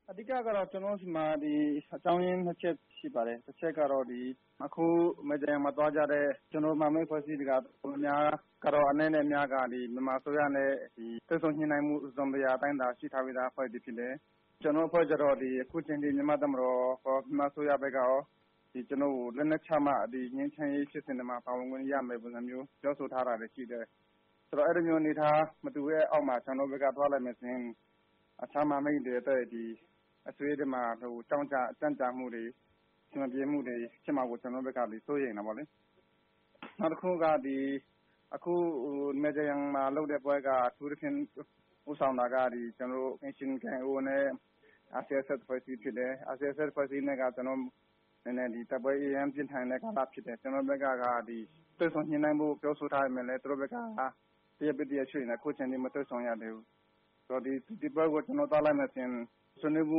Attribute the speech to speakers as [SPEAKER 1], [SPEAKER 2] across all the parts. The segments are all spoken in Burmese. [SPEAKER 1] “အဓိကတော့ ကျနော်တို့ဆီမှာ အကြောင်းအရင်း ၂ ချက်ရှိပါတယ်။ တချက်ကတော့ မိုင်ဂျာယန်မှာသွားကြတဲ့ ကျနော်တို့ မဟာမိတ် အဖွဲ့အစည်းတွေ က တော်တော်များများ အနည်းနဲ့ အများကတော့ မြန်မာအစိုးရနဲ့ တွေ့ဆုံညှိနှိုင်းမှု တစုံတရာရှိထားပြီးသားအဖွဲ့တွေဖြစ်တယ်။ ကျနော်တို့ကျတော့ အခုအချိန်အထိ မြန်မာတပ်မတော်ကော မြန်မာအစိုးရကော ကျနော်တို့ကို လက်နက်ချမှ ငြိမ်းချမ်းရေးဖြစ်စဉ်ထဲကို ပါဝင်ခွင့်ရမယ် ဆိုတဲ့ပုံစံမျိုး ပြောဆို ထားတာရှိတယ်။ ဆိုတော့ အဲဒီလိုမျိုးအနေအထား မတူတဲ့အောက်မှာ ကျနော်တို့ဘက်က သွားလိုက်မယ်ဆိုရင် အခြားမဟာမိတ်တွေအတွက် အစည်းအဝေးတွေမှာ ကြန့်ကြာမှု့တွေ အစည်းအဝေးတွေမှာ ဖြစ်မှာကို ကျနော်တို့ဘက်က စိုးရိမ်တယ်ပေါ့လေ။ နောက်တခုက အခု မိုင်ဂျာယန်မှာလုပ်တဲ့ပွဲက အထူးသဖြင့် ဦးဆောင်တာက အိမ်ရှင် KIO နဲ့ RCSS အဖွဲ့အစည်းဖြစ်တယ်။ RCSS အဖွဲ့အစည်းနဲ့က ကျနော်တို့ တိုက်ပွဲအရမ်းပြင်းထန်တဲ့ကာလဖြစ်တယ်။ ကျနော်တို့ဘက်က တွေ့ဆုံညှိနှိုင်းဖို့တောင်းဆိုထားပေမယ့်လည်း သူတို့ဘက်က တရက်ပြီးတရက်ရွေ့နေတယ် အခုအချိန်အထိ မတွေ့ဆုံရသေးဘူး။ ဆိုတော့ ဒီပွဲကို ကျနော်တို့ သွားလိုက်မယ်ဆိုရင်ဆွေးနွေးမှု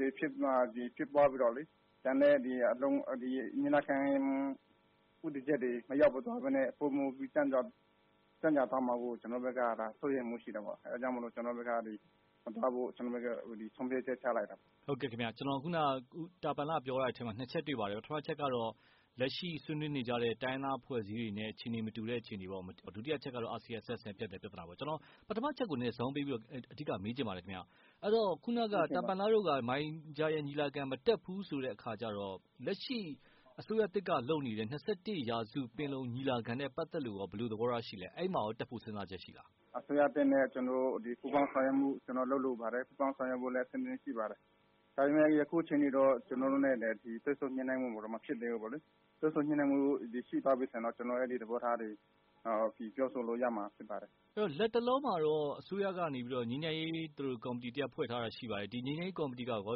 [SPEAKER 1] တွေဖြစ်သွားပြီးတော့လေ ကျန်တဲ့ညီလာခံ ဦးတည်ချက်တွေမရောက်သွားပဲနဲ့ ပိုမိုပြီး ကြန့်ကြာသွားမှာကို ကျနော်တို့ဘက်က စိုးရိမ်မှုရှိတယ်ပေါ့။ အဲဒါကြောင့်မို့လို့ မသွားဖို့ ကျနော်တို့ဘက်က ဆုံးဖြတ်ချက်ချလိုက်တာပေါ့။
[SPEAKER 2] ဟုတ်ကဲ့ခင်ဗျ ။ ခုနက တာပန်လ ပြောသွားတဲ့အထဲမှာ ၂ ချက်တွေ့ပါတယ်။ ပထမတချက်ကတော့ လက်ရှိဆွေးနွေးနေတဲ့ တိုင်းရင်းသားအဖွဲ့အစည်းတွေနဲ့ အခြေအနေမတူတဲ့ အနေအထားပေါ့။ ဒုတိယအချက်ကတော့ RCSS နဲ့ ဖြစ်တဲ့ ပြဿနာပေါ့။ ကျနော် ပထမအချက်ကို အဓိကဇောင်းပေးပြီးတော့ မေးချင်ပါတယ်ခင်ဗျ။ အဲဒီတော့ တာပန်လ တို့က မိုင်ဂျာယန်ညီလာခံ မတက်ဘူးဆိုတဲ့အခါကျတော့ လက်ရှိအစိုးရသစ်ကလုပ်နေတဲ့ ၂၁ ရာစုပင်လုံ ညီလာခံနဲ့ပတ်သက်လို့ရော ဘယ်လိုသဘောထားရှိသလဲ။ တက်ဖို့ကော စဉ်းစားတာရှိလား။
[SPEAKER 1] အစိုးရသစ်နဲ့ ကျနော်တို့ ပူးပေါင်းဆောင်ရွက်မှုလုပ်လိုပါတယ်။ ပူးပေါင်းဆောင်ရွက်ဖို့လည်း အဆင်သင့် ရှိပါတယ်။ ဒါပေမယ့် အခုအချိန်အထိတော့ ကျနော်တို့နဲ့ တွေ့ဆုံညှိနှိုင်းဖို့တော့ မဖြစ်သေးဘူးပေါ့လေ ။ တွေ့ဆုံ ညှိနှိုင်းမှုတွေရှိသွားပြီဆိုရင်တော့ ကျနော်တို့ အဲဒီသဘောထားတွေ ပြောဆို လို့ရမှာဖြစ်ပါတယ်။
[SPEAKER 2] လက်တလောမှာတော့ အစိုးရကနေ ငြိမ်းချမ်းရေး ကော်မတီတရပ်ဖွဲ့ထားတာရှိပါတယ်။ ငြိမ်းချမ်းရေး ကော်မတီကရော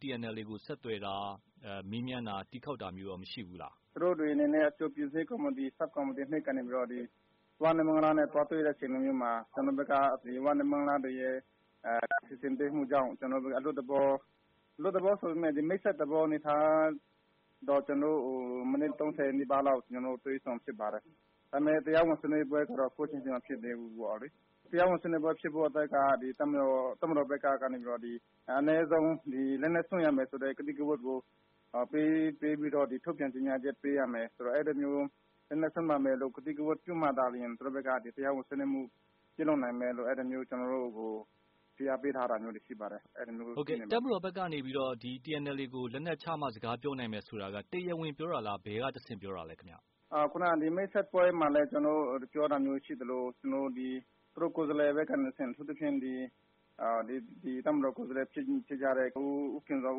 [SPEAKER 2] TNLA ကိုဆက်သွယ်တာ ၊ မေးမြန်းတာ ၊ တီးခေါက်တာမျိုးကောမရှိဘူးလား။
[SPEAKER 1] သူတို့တွေအနေနဲ့ အကြိုပြင်ဆင်ရေးကော်မတီ ဆပ်ကော်မတီ ၂ ကနေပြီးတော့ ၀ နဲ့ မိုင်းလားတွေကို သွားတွေ့တဲ့အချိန်မျိုးမှာ ကျနော်တို့ဘက်က ဝနဲ့ မိုင်းလားတွေရဲ့ စီစဉ်ပေးမှုကြောင့် ကျနော်တို့ဘက်က အလွတ်သဘော ၊ အလွတ်သဘောဆိုပေမယ့် မိတ်ဆက်တဲ့သဘောအနေအထားတော့ ကျနော်တို့ မိနစ် ၃၀ နီးပါးလောက် တွေ့ဆုံဖြစ်ပါတယ်။ ဒါပေမယ့် တရားဝင်ဆွေးနွေးပွဲတော့ အခုအချိန်အထိ မဖြစ်သေးဘူးပေါ့လေ။ တရားဝင်ဆွေးနွေးပွဲဖြစ်ဖို့အတွက်က တပ်မတော်ဘက်ကနေပြီးတော့ အနည်းဆုံး လက်နက်စွန့်ရမယ်ဆိုတဲ့ ကတိကဝတ်ကို ထုတ်ပြန်ကြေညာချက်ပေးရမယ်။ အဲဒီလိုမျိုးလက်နက်စွန့်ရမယ်လို့ ကတိကဝတ်ပေးမှသာလျှင် သူတို့ဘက်က တရားဝင်ဆွေးနွေးမှုပြုလုပ်နိုင်မယ်လို့ အဲဒီလိုမျိုးကျနော်တို့ကို ဖိအားပေးထားတာမျိုးတွေရှိပါတယ်။
[SPEAKER 2] တပ်မတော်ဘက်ကနေပြီးတော့ TNLA ကို လက်နက်ချမှ စကားပြောနိုင်မယ်ဆိုတာက တရားဝင်ပြောတာလား၊ ဘယ်ကတဆင့်ပြောတာလဲ။
[SPEAKER 1] ခုနက ဒီမိတ်ဆက်ပွဲမှာ တရားဝင်ပြောတာမျိုးရှိသလို သူတို့ ကိုယ်စားလှယ်တွေဘက်ကနေတဆင့် အထူးသဖြင့် တပ်မတော်ကိုယ်စားလှယ်တွေ ဖြစ်ကြတဲ့ ဦးခင်ဇော်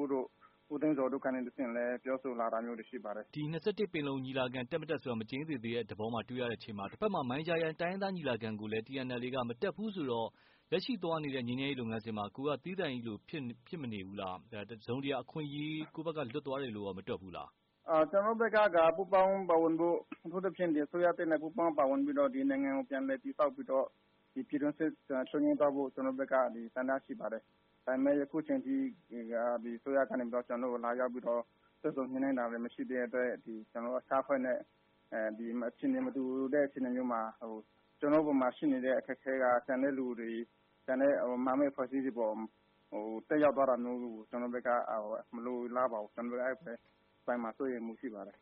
[SPEAKER 1] ဦးတို့ ၊ ဦးတင့်ဇော်တို့ကနေတဆင့် လည်း ပြောဆိုလာတာမျိုးတွေရှိပါတယ်။
[SPEAKER 2] ဒီ ၂၁ ပင်လုံ ညီလာခံ တက်၊ မတက်ဆိုတာ မသေချာသေးတဲ့အခြေအနေမှာ တဘက်မှာလည်း မိုင်ဂျာယန် တိုင်းရင်းသားညီလာခံကိုလည်း TNLA က မတက်ဘူးဆိုတော့ လက်ရှိသွားနေတဲ့လုပ်ငန်းစဉ်မှာ ကိုယ်က သီးသန့်လိုမဖြစ်နေဘူးလား။ တစုံတရာအခွင့်အရေး ကိုယ့်ဘက်က လွတ်သွားတယ်လို့ရော မတွက်မိဘူးလား။
[SPEAKER 1] ကျနော်တို့ဘက်က ပူးပေါင်းပါဝင်ဖို့ အထူးသဖြင့် ဒီအစိုးရသစ်နဲ့ ပူးပေါင်းပါဝင်ပြီးတော့ ဒီနိုင်ငံကို ပြန်လည်တည်ဆောက်ပြီးတော့ ဒီပြည်တွင်းစစ် ချုပ်ငြိမ်းသွားဖို့ ကျနော်တို့ဘက်က ဆန္ဒရှိပါတယ်။ ဒါပေမယ့် ယခုအချိန်အထိ အစိုးရကနေပြီးတော့ လာရောက်ပြီးတော့ တွေ့ဆုံညှိနှိုင်းတာလည်း မရှိသေးတဲ့အတွက် ဒီ ကျနော်တို့ တပ်ဖွဲ့နဲ့ အခြေအနေမတူတဲ့ အချိန်မျိုးမှာ ကျနော်တို့အပေါ်မှာရှိနေတဲ့အခက်အခဲက ကျန်တဲ့လူတွေ ၊ ကျန်တဲ့မဟာမိတ်အဖွဲ့အစည်းတွေအပေါ် သက်ရောက်သွားတာမျိုးကို ကျနော်တို့ဘက်က မလိုလားပါဘူး။ ကျနော်တို့လဲ အဲဒီအပိုင်းမှာ စိုးရိမ်မှုရှိပါတယ်